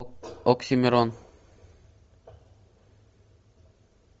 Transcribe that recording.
оксимирон